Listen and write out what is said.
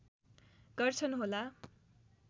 गर्छन् होला